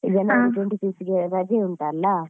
ಈಗ ನಾಳೆ twenty-fifth ಗೆ ರಜೆ ಉಂಟಲ್ಲ